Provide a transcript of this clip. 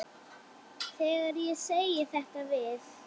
Þegar ég segi þetta við